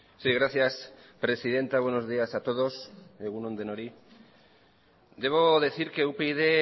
sí gracias presidenta buenos días a todos egun on denoi debo decir que upyd